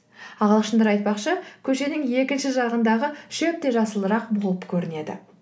ағылшындар айтпақшы көшенің екінші жағындағы шөп те жасылырақ болып көрінеді